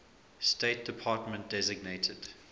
state department designated